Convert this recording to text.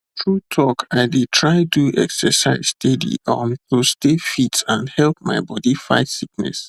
true talk i dey try do exercise steady um to stay fit and help my body fight sickness